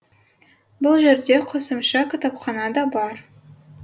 бұл жерде қосымша кітапхана да бар